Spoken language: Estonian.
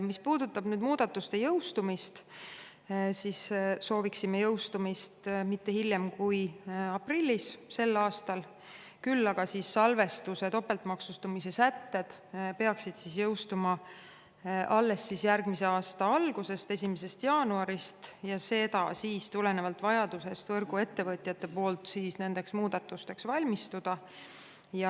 Mis puudutab muudatuste jõustumist, siis sooviksime jõustumist mitte hiljem kui aprillis sel aastal, kuid salvestuse topeltmaksustamise sätted peaksid jõustuma alles järgmise aasta algusest, 1. jaanuarist, tulenevalt võrguettevõtjate vajadusest nendeks muudatusteks valmistuda.